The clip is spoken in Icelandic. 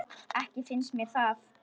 Ekki finnst mér það.